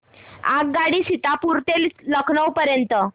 आगगाडी सीतापुर ते लखनौ पर्यंत